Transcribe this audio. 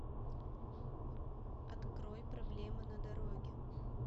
открой проблема на дороге